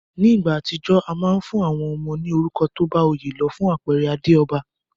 Ní ìgbà àtijó, a ma n fún àwon ọmọ ní orúkọ tóbá oyé lo. Fún àpere Adéòba